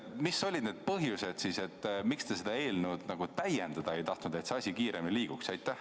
Mis olid siis need põhjused, miks te seda eelnõu täiendada ei tahtnud, et see asi kiiremini liiguks?